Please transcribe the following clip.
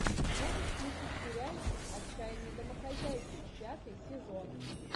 можешь включить сериальчик отчаянные домохозяйки пятый сезон